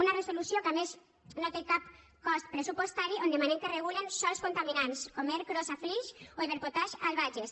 una resolució que a més no té cap cost pressupostari on demanem que es regulen sòls contaminants com ercros a flix o iberpotash al bages